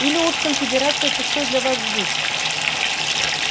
или уж конфедерация пустой для вас звук